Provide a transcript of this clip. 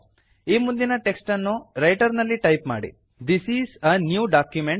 ಈ ಮುಂದಿನ ಟೆಕ್ಸ್ಟ್ ಅನ್ನು ರೈಟರ್ ನಲ್ಲಿ ಟೈಪ್ ಮಾಡಿ this is a new document